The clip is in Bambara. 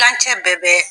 Kilancɛ bɛɛ bɛ